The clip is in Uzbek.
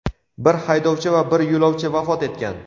Bir haydovchi va bir yo‘lovchi vafot etgan.